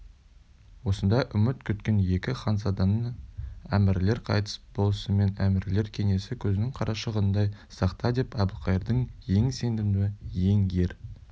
осындай үміт күткен екі ханзаданы әбілқайыр қайтыс болысымен әмірлер кеңесі көзіңнің қарашығындай сақтадеп әбілқайырдың ең сенімді ең ер